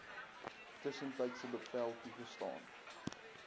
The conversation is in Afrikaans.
tussentydse bevel toegestaan